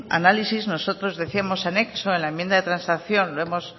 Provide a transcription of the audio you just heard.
análisis nosotros decíamos anexo en la enmienda de transacción lo hemos